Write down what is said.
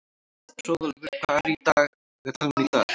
Hróðólfur, hvað er í dagatalinu í dag?